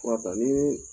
Fura ta ni